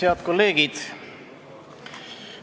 Head kolleegid!